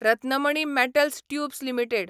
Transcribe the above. Ratnamani metals tubes limited